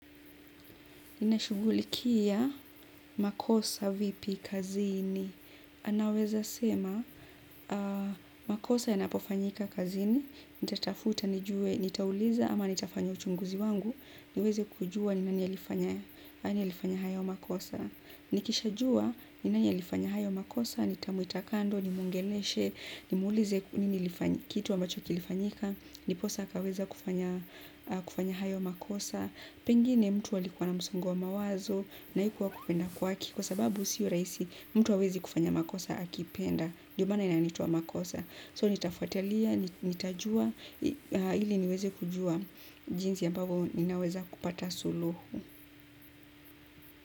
Unashugulikia makosa vipi kazini. Naweza sema, makosa yanapofanyika kazini, nitatafuta nijue, nitauliza ama nitafanyo chunguzi wangu. Niweze kujua ni nani alifanya hayo makosa. Nikishajua ni nani alifanya hayo makosa, ninamuita kando nimwongeleshe, nimuulize kitu ambacho kilifanyika ndiposa akaweza kufanya hayo makosa. Pengine mtu alikuwa na msongo wa mawazo na hikua kupenda kwake kwa sababu sio rahisi mtu kufanya makosa akipenda ndio maana yaitwa makosa, so nitafatalia, nitajua ili niweze kujua jinzi ambavyo ninaweza kupata suluhu.